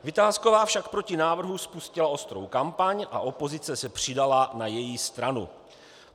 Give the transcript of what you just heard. Vitásková však proti návrhu spustila ostrou kampaň a opozice se přidala na její stranu.